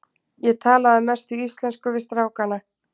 Ég tala að mestu íslensku við strákana.